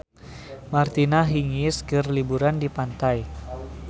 Martina Hingis keur liburan di pantai